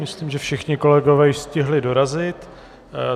Myslím, že všichni kolegové již stihli dorazit.